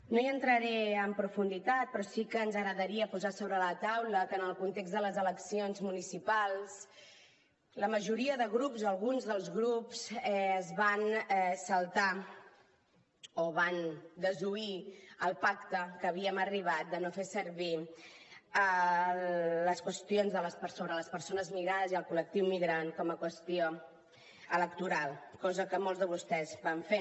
no hi entraré en profunditat però sí que ens agradaria posar sobre la taula que en el context de les eleccions municipals la majoria de grups o alguns dels grups es van saltar o van desoir el pacte a què havíem arribat de no fer servir les qüestions sobre les persones migrades i el col·lectiu migrant com a qüestió electoral cosa que molts de vostès van fer